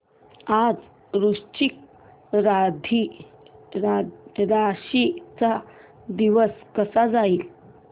आज वृश्चिक राशी चा दिवस कसा जाईल